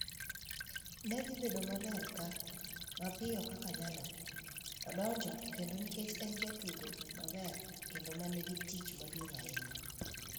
Ne dhi bedo maber ka mapiyo kaka nyalore, odonjo kendo nikech en jatugo maber kendo ma nigi tich maduong' ahinya.